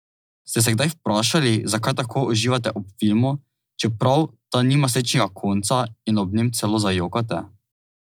Ste se kdaj vprašali, zakaj tako uživate ob filmu, čeprav ta nima srečnega konca in ob njem celo zajokate?